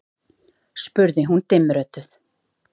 spurði hún dimmrödduð.